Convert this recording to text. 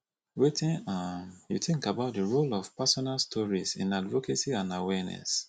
wetin um you think about di role of personal stories in advocacy and awareess